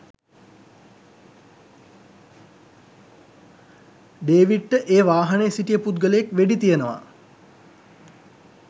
ඩේවිඩ්ට ඒ වාහනේ සිටිය පුද්ගලයෙක් වෙඩි තියනවා